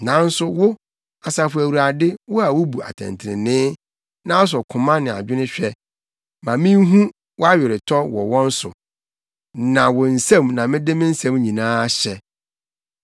Nanso wo, Asafo Awurade, wo a wubu atɛntrenee na wosɔ koma ne adwene hwɛ, ma minhu wʼaweretɔ wɔ wɔn so, na wo nsam na mede me nsɛm nyinaa hyɛ.